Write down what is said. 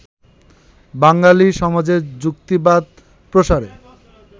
বাঙালি সমাজে যুক্তিবাদ প্রসারে